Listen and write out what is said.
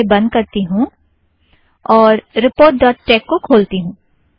इसे बंध करती हूँ और रीपोर्ट डॉट टेक को खोलती हूँ